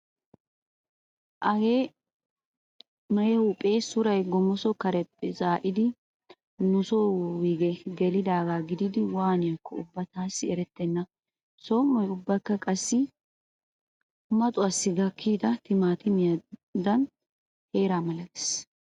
Hagee na'e huuhphpee suray qommoso kareppe zaa'idi nuso wuyge gelidaagaa gididi waaniyaakko ubba taassi erettenna. Som"oy ubbakka qassi maxuwaassi gakkida timaatimiya teeraa malatees.